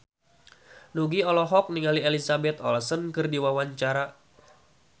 Nugie olohok ningali Elizabeth Olsen keur diwawancara